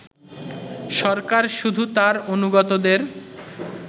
সরকার শুধু তার অনুগতদের